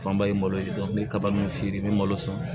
Fanba ye malo ye dɔn n bɛ kaba min feere n bɛ malo san